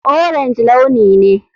Orange launi ne.